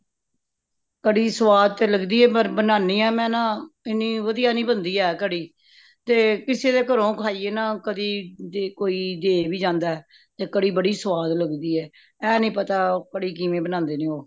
ਕੜੀ ਸਵਾਦ ਤੇ ਲੱਗਦੀ ਹੈ ਪਰ ਬਣਾਣੀ ਹਾਂ ਮੈਂ ਨਾ ਤੇ ਇਨੀ ਵਧੀਆ ਨਹੀਂ ਬੰਦੀ ਹੈ ਕੜੀ ,ਤੇ ਕਿਸੀ ਦੇ ਕਰੋ ਖਾਇਯੈ ਨਾ ਕਦੀ ਜੇ ਕੋਈ ਦੇ ਵੀ ਜਾਂਦਾ ਤੇ ਕੜੀ ਬੜੀ ਸਵਾਦ ਲਗਦੀ ਹੈ। ਇਹ ਨੀ ਪਤਾ ਕੜੀ ਕਿਵੇਂ ਬਣਾਂਦੇ ਨੇ ਉਹ